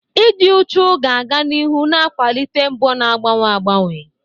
Ịdị uchu ga-aga n'ihu na-akwalite mbọ na-agbanwe agbanwe.